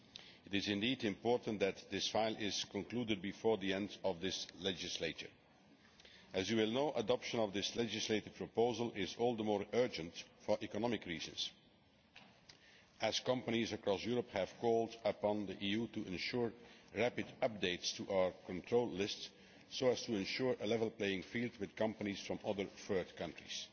It is indeed important that this file is concluded before the end of this legislature. As you will know, adoption of this legislative proposal is all the more urgent for economic reasons, as companies across Europe have called on the EU to ensure rapid updates to our control lists so as to ensure a level playing field with companies from other third countries.